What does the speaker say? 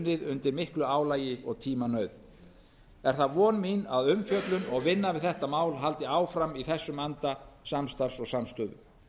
undir miklu álagi og tímanauð er það von mín að umfjöllun og vinna við þetta mál haldi áfram í þessum anda samstarfs og samstöðu